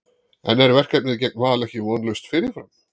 En er verkefnið gegn Val ekki vonlaust fyrirfram?